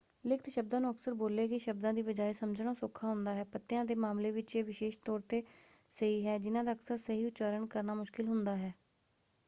ਲਿਖਤ ਸ਼ਬਦਾਂ ਨੂੰ ਅਕਸਰ ਬੋਲੇ ਗਏ ਸ਼ਬਦਾਂ ਦੀ ਬਜਾਏ ਸਮਝਣਾ ਸੌਖਾ ਹੁੰਦਾ ਹੈ। ਪਤਿਆਂ ਦੇ ਮਾਮਲੇ ਵਿੱਚ ਇਹ ਵਿਸ਼ੇਸ਼ ਤੌਰ 'ਤੇ ਸਹੀ ਹੈ ਜਿਨ੍ਹਾਂ ਦਾ ਅਕਸਰ ਸਹੀ ਉਚਾਰਨ ਕਰਨਾ ਮੁਸ਼ਕਲ ਹੁੰਦਾ ਹੈ।